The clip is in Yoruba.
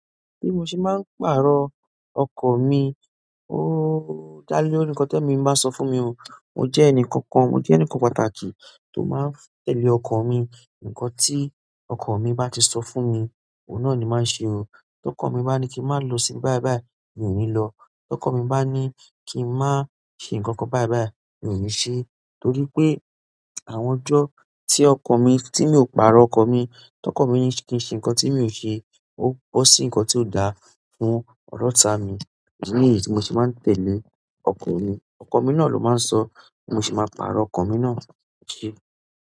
Bí mo ṣe máa ń pàrọ̀ ọkan mi, ooo dá lé òní ńkọ́ tó èmi bá sọ fún mi o, mó jẹ́ ẹnì kankan, mó jẹ́ ẹnì kan pàtàkì tó máa ń tẹ̀lé ọkan mi. Ǹkan tí ọkan mi bá ti sọ fún mi, òun náà ni máa ṣe o. Tí ọkọ mi bá ní kí n máa lọ sí báì báì, mi ò ní lọ. Tí ọkan mi bá ní kí n má ṣe ǹkan kan báì báì, mi ò ní ṣe, torí pé àwọn ọjọ́ tí ọkan mi, tí mi ò pàrọ̀ ọkan mi, tí ọkan mi ní kí ṣe ǹkan tí èmi ò ṣe, ó bọ́ sí ǹkan tí ò dáa fún ọ́ta mi. Èdi ni yí tí mo ṣe máa ń tẹ̀lé ọkan mi. Ọkan mi náà ló máa ń sọ, bi mo se máa pàrọ̀ ọkan mi náà.